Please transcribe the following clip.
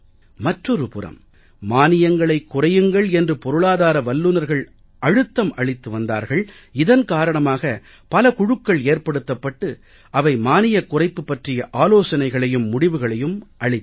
மற்றொரு புறம் மானியங்களைக் குறையுங்கள் என்று பொருளாதார வல்லுனர்கள் அழுத்தம் அளித்து வந்தார்கள் இதன் காரணமாக பல குழுக்கள் ஏற்படுத்தப்பட்டு அவை மானியக் குறைப்பு பற்றிய ஆலோசனைகளையும் முடிவுகளையும் அளித்தன